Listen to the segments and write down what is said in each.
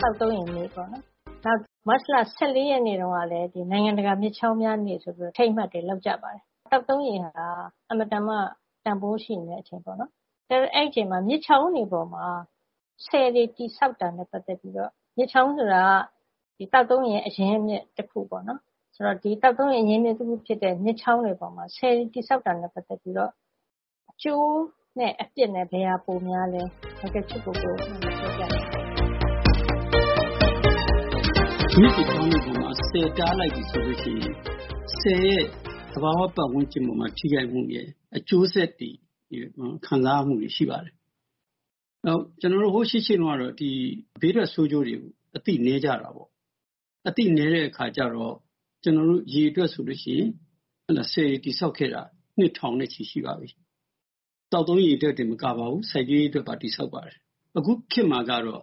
သောက်သုံးရေနေ့” ပေါ့နော်၊ မတ်လ ၁၄ ရက်နေ့တုန်းကလည်း “နိုင်ငံတကာမြစ်ချောင်းများနေ့” ဆိုပြီးတော့ အထိမ်းအမှတ်တွေ လုပ်ကြပါတယ်။ သောက်သုံးရေဟာ အင်မတန်မှ တန်ဖိုးရှိနေတဲ့အချိန်ပေါ့နော်။ အကယ်၍ အဲဒီအချိန်မှာ မြစ်ချောင်းတွေပေါ်မှာ ဆည်တွေတည်ဆောက်တာနဲ့ပတ်သက်ပြီးတော့ - မြစ်ချောင်းဆိုတာက သောက်သုံးရေအရင်းအမြစ်တခုပေါ့နော်၊...ဆိုတော့ ဒီသောက်သုံးရေအရင်းအမြစ်ဖြစ်တဲ့ မြစ်ချောင်းတွေပေါ်မှာ ဆည်တည်ဆောက်တာနဲ့ပတ်သက်ပြီးတော့ အကျိုးနဲ့အပြစ်ဘယ်ဟာပိုများသလဲ၊ ဒေါက်တာချစ်ကိုကို ပြောပြပေးပါရှင့်။ ဒေါက်တာချစ်ကိုကို။ ။ မြစ်တွေချောင်းတွေပေါ်မှာ ဆည်တားလိုက်ပြီဆိုလို့ရှိရင် သဘာဝပတ်ဝန်းကျင်အပေါ်မှာ ဆည်ကြောင့်ထိခိုက်မှုရဲ့ အကျိုးဆက်တွေ၊ ခံစားရမှုတွေ ရှိပါတယ်။ နောက်... ကျနော်တို့ ဟိုး ရှေ့ရှေးတုန်းကတော့ ဘေးထွက်ဆိုးကျိုးတွေ အသိနည်းကြတာပေါ့။ အသိနည်းတဲ့အခါကျတော့ ရေအတွက်ဆိုလို့ရှိရင် ဆည်တွေတည်ဆောက်ခဲ့တာ နှစ်ထောင်နဲ့ချီရှိပါပြီ။ သောက်သုံးရေအတွက်တင်မကပါဘူး။ စိုက်ပျိုးရေးအတွက်ပါ တည်ဆောက်ပါတယ်။ အခုခေတ်မှာကျတော့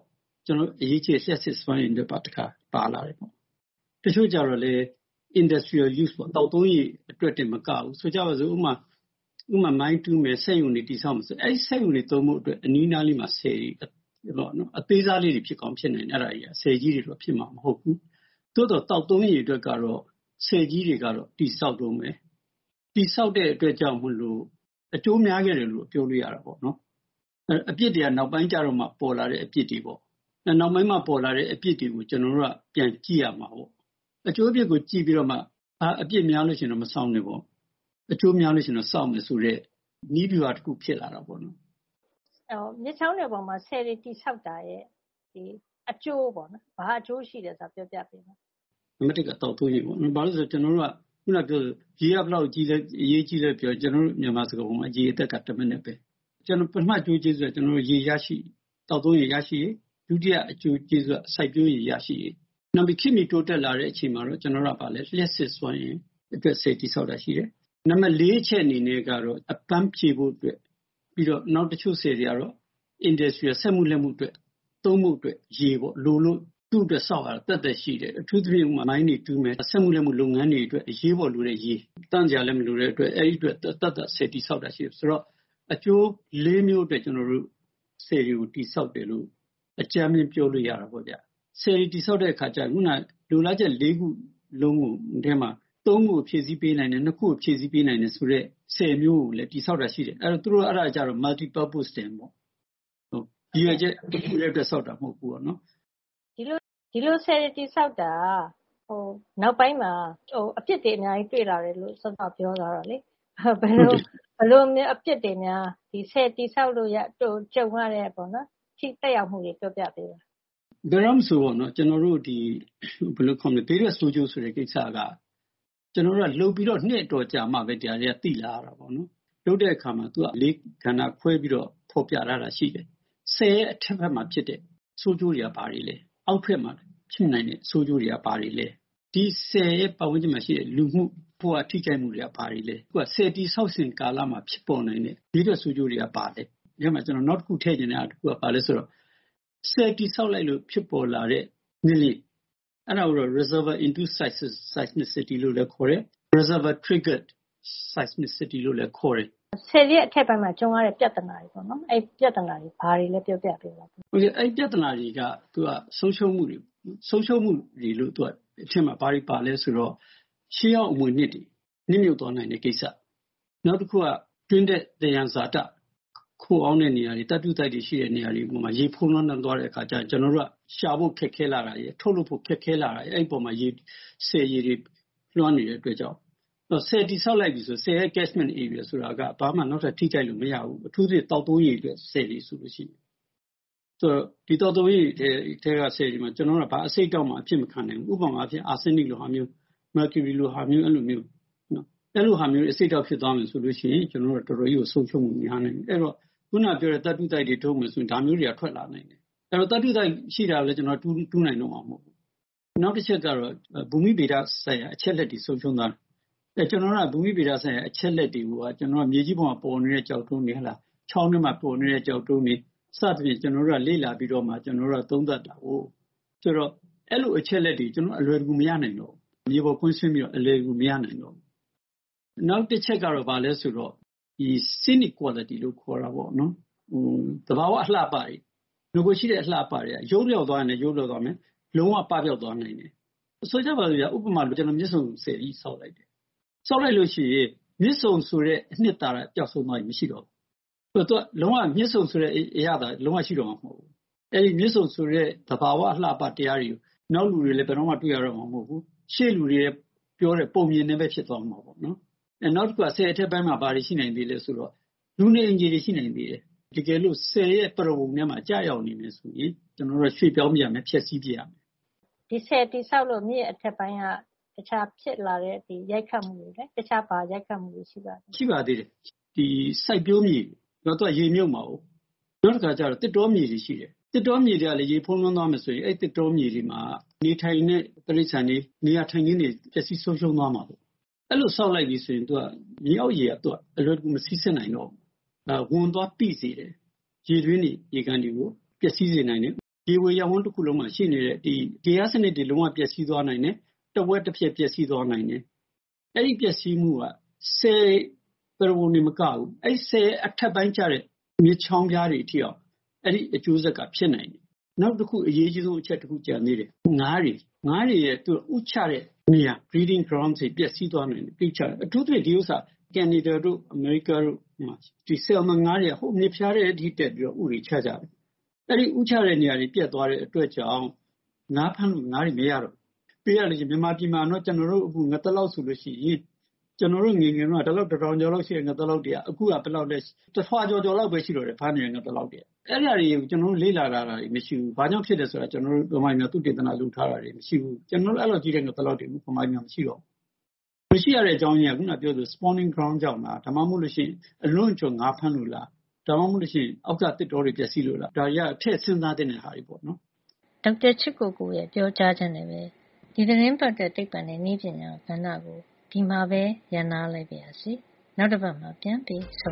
အရေးကြီးတဲ့ လျှပ်စစ်စွမ်းအင်အတွက်ပါ တခါ ပါလာတယ်။ တချို့ကျတော့လည်း industrial use ပေါ့၊ သောက်သုံးရေအတွက်တင်မကဘူး၊ ဥပမာ ဆိုကြပါစို့၊ မိုင်းတူးမယ်၊ စက်ရုံတွေတည်ဆောက်မယ်ဆိုရင် အဲဒီစက်ရုံတွေသုံးဖို့အတွက် အနီးအနားလေးကို ဆည်တွေဆောက်တယ်။ အသေးစားလေးတွေ ဖြစ်ကောင်းဖြစ်နိုင်တယ်၊ အဲဒါတွေက။ ဆည်ကြီးတွေတော့ ဖြစ်မှာမဟုတ်ဘူး။ သို့သော် သောက်သုံးရေအတွက်ကတော့ ဆည်ကြီးတွေက တည်ဆောက်တုန်းပဲ။ တည်ဆောက်တဲ့အတွက်ကြောင့်မို့လို့ အကျိုးအများကြီးရတယ်လို့တော့ ပြောလို့ရတာပေါ့နော်။ အပြစ်တွေက နောက်ပိုင်းကျတော့မှ ပေါ်လာတဲ့အပြစ်တွေပေါ့။ နောက်ပိုင်းမှပေါ်လာတဲ့အပြစ်တွေကို ကျနော်တို့က ပြန်ကြည့်ရမှာကိုး။ အကျိုးအပြစ်ကိုကြည့်ပြီးတော့မှ အပြစ်များလို့ရှိရင်တော့ မဆောက်နဲ့ပေါ့။ အကျိုးများလို့ရှိရင်တော့ ဆောက်မယ်ဆိုတဲ့ နည်းဗျူဟာတခုဖြစ်လာတာပေါ့လေ။ ဒေါ်ခင်မျိုးသက်။ ။ မြစ်ချောင်းတွေပေါ်မှာ ဆည်တွေတည်ဆောက်တာရဲ့ အကျိုးပေါ့နော်၊ ဘာအကျိုးရှိလဲဆိုတာ ပြောပြပေးပါ။ ဒေါက်တာချစ်ကိုကို။ ။ နံပါတ် က သောက်သုံးရေပေါ့နော်။ ဘာပဲပြောပြော ကျနော်တို့က အခုနကပြောသလို ရေက ဘယ်လောက်အရေးကြီးသလဲပြောရင် ကျနော်တို့ မြန်မာစကားပုံက “ရေအသက်က တမနက်ပဲ။” ပထမအကျိုးကျေးဇူးက ရေရရှိရေး။ သောက်သုံးရေရရှိရေး။ ဒုတိယအကျိုးကျေးဇူးက စိုက်ပျိုးရေရရှိရေး။ နောက်ပြီး ခေတ်မီတိုးတက်လာတဲ့အချိန်မှာတော့ ကျနော်တို့က လျှပ်စစ်စွမ်းရည်အတွက် ဆည်တည်ဆောက်တာရှိမယ်။ နံပါတ် အချက်အနေနဲ့ကတော့ အပမ်းဖြေဖို့အတွက်။ နောက်တချို့ဆည်တွေကတော့ Industrial - စက်မှုလက်မှုအတွက် သုံးဖို့အတွက်ရေလိုလို့ သူ့အတွက်ဆောက်ရတာ သက်သက်ရှိတယ်။ အထူးသဖြင့် မိုင်းတွေတူးမယ်။ အထူးသဖြင့် စက်မှုလက်မှုလုပ်ငန်းတွေအတွက် အရေးပေါ်လိုတဲ့ရေ။ သန့်စရာလည်းမလိုတဲ့အတွက် အဲဒီအတွက် သပ်သပ်ဆည်တည်ဆောက်တာရှိတယ်။...ဆိုတော့ အကျိုးလေးမျိုးအတွက် ဆည်တွေကိုတည်ဆောက်တယ်လို့ အကြမ်းဖျင်း ပြောလို့ရတာပေါ့ဗျ။ ဆည်တွေတည်ဆောက်တဲ့အခါကျ အခုနက လိုလားချက်လေးခုလုံးထဲမှာ သုံးခုကို ဖြည့်ဆည်းပေးနိုင်တယ်၊ နှစ်ခုကိုဖြည့်ဆည်းပေးနိုင်တယ်ဆိုတဲ့ ဆည်မျိုးကိုလည်း တည်ဆောက်တာရှိတယ်။ အဲဒါကျတော့ Multi purpose dam ပေါ့။ ရည်ရွယ်ချက်တခုတည်းအတွက် ဆောက်တာမဟုတ်ဘူးပေါ့နော်။ ဒေါ်ခင်မျိုးသက်။ ။ ဒီလိုဆည်တွေတည်ဆောက်တာဟာ နောက်ပိုင်းမှာ အပြစ်တွေအများကြီးတွေ့လာတယ်လို့ စောစောက ပြောသွားတာလေ။ ဆည်တည်ဆောက်လို့ကြုံရတဲ့ထိခိုက်ရမှုတွေ ပြောပြပေးပါ။ ဒေါက်တာချစ်ကိုကို။ ။ ဘယ်တော့မဆို ဘေးထွက်ဆိုးကျိုးဆိုတဲ့ကိစ္စက လုပ်ပြီးတော့ နှစ်အတော်ကြာမှပဲ ဒါတွေသိလာရတာပေါ့နော်။ လုပ်တဲ့အခါမှာ လေးကဏ္ဍခွဲပြီးတော့ ဖော်ပြထားတာရှိတယ်။ ဆည်ရဲ့အထက်ဘက်မှာဖြစ်တဲ့ ဆိုးကျိုးတွေက ဘာတွေလဲ။ အောက်ဘက်မှာဖြစ်နိုင်တဲ့ဆိုးကျိုးတွေက ဘာတွေလဲ။ ဒီဆည်ရဲ့ပတ်ဝန်းကျင်မှာရှိတဲ့ လူမှုဘဝ ထိခိုက်မှုတွေက ဘာတွေလဲ။ အခုဟာက ဆည်တည်ဆောက်စဉ်ကာလမှာ ဖြစ်ပေါ်နိုင်တဲ့ဘေးထွက်ဆိုးကျိုးတွေက ဘာတွေလဲ။ နောက်တခု ထည့်ချင်တာတခုက ဘာလဲဆိုတော့ ဆည်တည်ဆောက်လိုက်လို့ ဖြစ်ပေါ်လာတဲ့ ငလျင်၊ အဲဒါကိုတော့ reservior induced seismicity - လို့လည်းခေါ်တယ်။ reservior triggered seismicity လို့လည်း ခေါ်တယ်။ ဒေါ်ခင်မျိုးသက်။ ။ ဆည်ရဲ့အထက်ပိုင်းမှာ ကြုံရတဲ့ပြဿနာတွေပေါ့နော်။ အဲဒီပြဿနာတွေက ဘာတွေလဲ ပြောပြပေးပါ။ ဒေါက်တာချစ်ကိုကို။ ။ ပြဿနာတွေက သူက ဆုံးရှုံးမှုတွေပေါ့။ ဆုံးရှုံးမှုတွေထဲမှာ ဘာတွေပါလဲဆိုတော့ ရှေးဟောင်းအမွေအနှစ်တွေနစ်မြုပ်သွားနိုင်တဲ့ကိစ္စ။ နောက်တခုက တွင်းထွက်သယံဇာတခိုအောင်းတဲ့နေရာတွေ၊ သတ္တုသိုက်တွေရှိတဲ့နေရာတွေပေါ်မှာ ဖုံးလွှမ်းသွားတဲ့အခါကျလို့ရှိရင် ကျနော်တို့က ရှာဖို့ခက်ခဲလာတာရယ်၊ ထုတ်လုပ်ဖို့ခက်ခဲလာတာရယ်၊ အဲဒီအပေါ်မှာ ဆည်ရေတွေလွှမ်းနေတဲ့အတွက်ကြောင့်။ ဆည်တည်ဆောက်လိုက်ပြီဆိုရင် ဆည်ရဲ့ catchment area တွေက ဘာမှ နောက်ထပ်ထိခိုက်လို့မရဘူး။ အထူးသဖြင့် သောက်သုံးရေအတွက်ဆည်တွေဆိုလို့ရှိရင်။ ဒီသောက်သုံးရေအတွက်ဆည်တွေမှာ ကျနော်တို့က ဘာအဆိပ်အတောက်မှ အဖြစ်မခံနိုင်ဘူး။ ဥပမာ အာဆင်းနစ်လိုဟာမျိုး။ မာကျူရီလိုဟာမျိုး-အဲလိုမျိုး။ အဲလိုဟာမျိုးတွေနဲ့ အဆိပ်အတောက်ဖြစ်သွားပြီဆိုလို့ရှိရင် ကျနော်တို့က တော်တော်ကြီးကို ဆုံးရှုံးမှုများနိုင်တယ်။ အဲဒီတော့ အခုနကပြောတဲ့ သတ္တုသိုက်တွေထုတ်မယ်ဆိုရင် ဒါမျိုးတွေကထွက်လာမယ်။ အဲဒီတော့ သတ္တုသိုက်ရှိလာပြီဆိုရင် တူးနိုင်တော့မှာမဟုတ်ဘူး။...နောက်တချက်ကတော့ ဘူမိဗေဒဆိုင်ရာ အချက်အလက်တွေ ဆုံးရှုံးသွားမယ်။ ဘူမိဗေဒဆိုင်ရာအချက်အလက်တွေကိုက ကျနော်တို့က မြေကြီးပေါ်မှာပေါ်နေတဲ့ကျောက်တုံးတွေ၊ ချောင်းထဲမှာပေါ်နေတဲ့ကျောက်တုံးတွေ။ စသဖြင့် လေ့လာပြီးတော့မှ ကျနော်တို့ကသုံးသပ်တာကိုး။ ဆိုတော့ အဲဒီလို အချက်အလက်တွေကို ကျနော်တို့က အလွယ်တကူမရနိုင်တော့ဘူး။ မြေပေါ်ကွင်းဆင်းပြီးတော့ အလွယ်တကူမရနိုင်တော့ဘူး။....နောက်တချက်ကတော့ ဘာလဲဆိုတော့ scenic quality လို့ခေါ်တာပေါ့လေ။ သဘာဝအလှအပတွေ။ နဂိုကရှိတဲ့အလှအပတွေ ယုတ်လျော့သွားရင်လည်း ယုတ်လျော့သွားမယ်။ လုံးဝပပျောက်သွားနိုင်တယ်။ ဆိုကြပါစို့ဗျာ။ ဥပမာ မြစ်ဆုံဆည်ကြီး ဆောက်လိုက်တယ်။ ဆောက်လိုက်လို့ရှိရင် မြစ်ဆုံဆိုတဲ့ အနှစ်သာရပျောက်ဆုံးသွားပြီ။ မရှိတော့ဘူး။ မြစ်ဆုံဆိုတဲ့အရသာ လုံးဝရှိတော့မှာမဟုတ်ဘူး။ အဲဒီ မြစ်ဆုံဆိုတဲ့ သဘာဝအလှအပတရားတွေ နောက်လူတွေလည်း ဘယ်တော့မှတွေ့ရတော့မှာ မဟုတ်ဘူး။ ရှေ့လူတွေပြောတဲ့ ပုံပြင်တွေပဲ ဖြစ်သွားမှာပေါ့နော်။........နောက်တခုက ဆည်အထက်ပိုင်းမှာ ဘာတွေရှိနိုင်သေးလဲဆိုရင် လူနေအိမ်ခြေတွေရှိနိုင်သေးတယ်။ တကယ်လို့ဆည်ရဲ့ပရဝုဏ်ထဲမှာ ကျရောက်နေပြီဆိုရင် ကျနော်တို့က ရွှေ့ပြောင်းပစ်ရမယ်၊ ဖျက်ဆီးပစ်ရမယ်။ ဒေါ်ခင်မျိုးသက်။ ။ ဒီဆည်တည်ဆောက်လို့ မြစ်အထက်ပိုင်းက တခြားဖြစ်လာတဲ့ရိုက်ခတ်မှုတွေ၊ တခြား ဘာရိုက်ခတ်မှုတွေရှိပါသေးလဲ။ ဒေါက်တာချစ်ကိုကို။ ။ ရှိပါသေးတယ်။ စိုက်ပျိုးမြေတွေ။ သူက ရေမြုပ်မှာကို။ နောက်တခါကျတော့ သစ်တောမြေတွေရှိတယ်။ သစ်တောမြေတွေကလည်း ရေဖုံးလွှမ်းသွားမယ်ဆိုရင် အဲဒီသစ်တောမြေတွေမှာနေထိုင်တဲ့ တိရစ္ဆာန်တွေ နေရာထိုင်ခင်းတွေ ပျက်စီးဆုံးရှုံးသွားမှာပေါ့။ အဲဒီလို ဆောက်လိုက်ပြီဆိုရင် မြေအောက်ရေက အလွယ်တကူ မစီးဆင်းနိုင်တော့ဘူး။ နောက် ဝန်သွားပိစေတယ်။ ရေတွင်းတွေ၊ ရေကန်တွေကို ပျက်စီးစေနိုင်တယ်။ ရေဝေရပ်ဝန်းတခုလုံးမှာရှိနေတဲ့ ဂေဟစနစ်တွေ လုံးဝပျက်စီးသွားနိုင်တယ်။ တဝက်တပြက် ပျက်စီးသွားနိုင်တယ်။ အဲဒီပျက်စီးမှုက ဆည်ပရဝုဏ်တင်မကဘူး။ အဲဒီဆည်ရဲ့အထက်ပိုင်းကျတဲ့မြစ်ချောင်းဖျားတွေထိအောင် အဲဒီအကျိုးဆက်က ဖြစ်နိုင်တယ်။....နောက်တခု အရေးအကြီးဆုံးအချက် ကျန်သေးတယ်။ “ငါးတွေ။” ငါးတွေ ဥချတဲ့နေရာ။ breeding grounds တွေ ပျက်စီးသွားနိုင်တယ်။ အထူးသဖြင့် ဒီဥစ္စာ ကနေဒါ တို့၊အမေရိကားတို့မှာ ဆယ်လ်မွန်ငါးတွေက ဟိုးမြစ်ဖျားထဲအထိတက်ပြီးတော့ ဥတွေချကြတာ။ အဲဒီဥချတဲ့နေရာတွေပျက်သွားတဲ့အတွက်ကြောင့် ငါးဖမ်းလို့ငါးတွေမရတော့ဘူး။.ပြောရလို့ရှိရင် ကျနော်တို့ အခု ငသလောက်ဆိုလို့ရှိရင် ကျနော်တို့ငယ်ငယ်တုန်းက တတောင်ကျော်လောက်ရှိတဲ့ငသလောက်တွေက အခုဆိုလို့ရှိရင် တထွာကျော်ကျော်လောက်ပဲရှိတော့တယ်။ ဖမ်းမိတဲ့ငသလောက်တွေက။ အဲဒါတွေက ကျနော်တို့ လေ့လာထားတာတွေမရှိဘူး။ ဘာကြောင့်ဖြစ်တယ်ဆိုတာ ဗမာပြည်မှာ သုတေသနလုပ်ထားတာတွေ မရှိဘူး။ အဲလောက်ကြီးလည်း ကျနော်တို့ဗမာပြည်မှာ ငသလောက်တွေမရှိတော့ဘူး။ မရှိရတဲ့အကြောင်းရင်းက အခုနကပြောသလို ဥတွေ ဥချတဲ့ နေရာ ကြောင့်လား၊ ဒါမှမဟုတ်လို့ရှိရင် အလွန့်အကျွံငါးဖမ်းလို့လား။ ဒါမှမဟုတ်လို့ရှိရင် အောက်က သစ်တောတွေပျက်စီးလို့လား။ ဒါတွေက ထည့်စဉ်းစားသင့်တဲ့ဟာတွေပေါ့နော်။ ဒေါက်တာချစ်ကိုကိုရဲ့ပြောကြားချက်နဲ့ပဲ ဒီသီတင်းပတ်အတွက် သိပ္ပံနဲ့နည်းပညာကဏ္ဍကို ဒီမှာပဲ ရပ်နားလိုက်ပါရစေ။ နောက်တပတ်မှာ ပြန်ပြီး ဆုံ